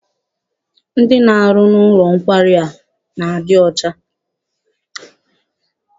Ndị na-arụ n'ụlọ nkwari a na-adị ọcha.